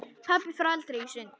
Pabbi fór aldrei í sund.